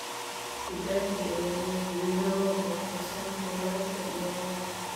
Kibaki ayaa madaxweyne loo doortay sanadkii laba kun iyo laba.